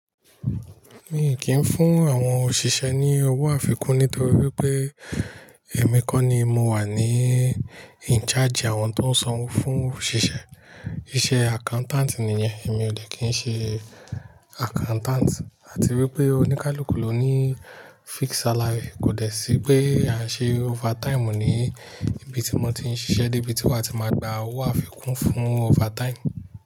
Mi kì í fún àwọn òṣìṣẹ́ ní owó àfikún nítorí wípé èmi kọ́ ni mo wà ní in charge àwọn tó ń sanwó fún òṣìṣẹ́. Iṣẹ́ accountant nìyẹn, èmi ò dè kí ń ṣe accountant. Àti wípé oníkálukú ló ní fix salary, kò dẹ̀ sí pé à ń ṣe overtime mọ̀ ní ibi tí mo ti ń ṣiṣẹ́ dé, bí tí wọ́n ti máa gba owó àfikún fún overtime.